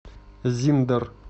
зиндер